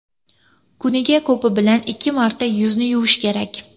Kuniga ko‘pi bilan ikki marta yuzni yuvish kerak.